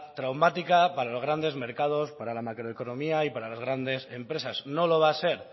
traumática para los grandes mercados para la macroeconomía y para las grandes empresas no lo va a ser